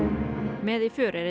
með í för er einn